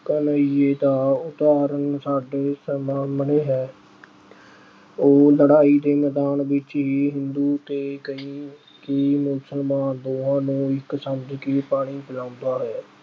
ਘਨੱਈਏ ਦਾ ਉਦਾਹਰਣ ਸਾਡੇ ਸਾਹਮਣੇ ਅਹ ਹੈ। ਉਹ ਲੜਾਈ ਦੇ ਮੈਦਾਨ ਵਿੱਚ ਹੀ ਹਿੰਦੂ ਅਤੇ ਕਈ ਅਹ ਕਈ ਮੁਸਲਮਾਨ ਦੋਹਾਂ ਨੂੰ ਇੱਕ ਸਮਝ ਕੇ ਪਾਣੀ ਪਿਲਾਉਂਦਾ ਹੈ।